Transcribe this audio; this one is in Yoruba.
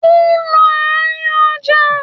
Ó ń lọ àárín ọjà.